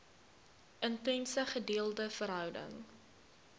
intense gedeelde verhouding